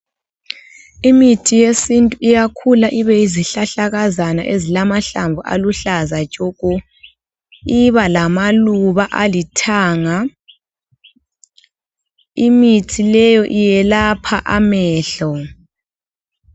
Imithi yesintu iyakhula ibeyi zihlahlakazana ezilamahlamvu aluhlaza tshoko, iba lamaluba alithanga, imithi leyo iyelapha amehlo.